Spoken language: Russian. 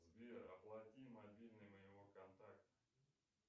сбер оплати мобильный моего контакта